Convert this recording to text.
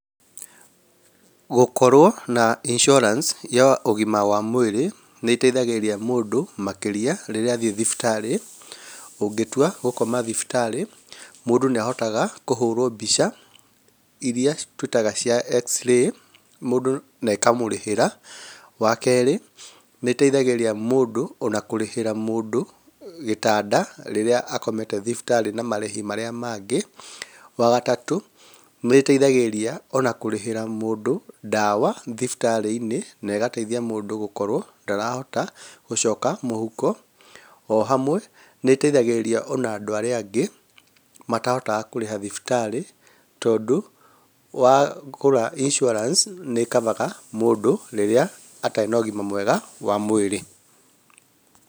Gũkorwo na insurance ya ũgima wa mwĩrĩ, nĩĩteithagĩrĩria mũndũ makĩria rĩrĩa athiĩ thibitarĩ. Ũngĩtua gũkoma thibitarĩ, mũndũ nĩahotaga kũhũrwo mbica ĩrĩa twĩtaga cia x-ray mũndũ nekamũrĩhĩra. Wakerĩ nĩĩteithagĩrĩria mũndũ ona kũrĩhĩra mũndũ gĩtanda rĩrĩa akomete thibitarĩ na marĩhi marĩa mangĩ. Wagatatũ nĩĩteithagĩrĩria ona kũrĩhĩra mũndũ ndawa thibitarĩ-inĩ na ĩgateithia mũndũ gũkorwo ndarahota gũcoka mũhuko. Ohamwe nĩĩteithagĩrĩria ona andũ arĩa angĩ matahotaga kũrĩha thibitarĩ tondũ wagũra insurance nĩĩ cover ga mũndũ rĩrĩa atarĩ na ũgima mwega wa mwĩrĩ.